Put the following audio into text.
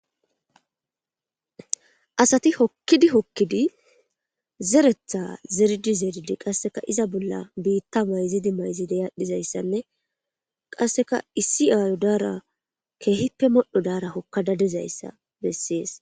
Asati hokkidi hokkidi zeretha zeridi zeridi qasseka iza bolla biitta mayzidi mayzideyadhdhizayssanne qasseka issi aayo daara keehippe modho daara hokka dadezayssa bessees.